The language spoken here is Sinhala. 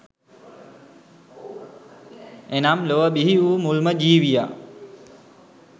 එනම් ලොව බිහි වූ මුල්ම ජීවියා